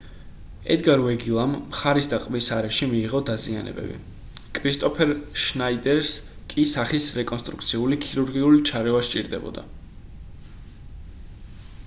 ედგარ ვეგილამ მხარის და ყბის არეში მიიღო დაზიანებები კრისტოფერ შნაიდერს კი სახის რეკონსტრუქციული ქირურგიული ჩარევა სჭირდებოდა